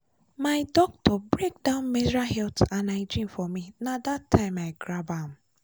my doctor break down menstrual health and hygiene for me na that time i grab am.